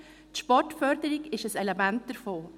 Die Sportförderung ist ein Element davon.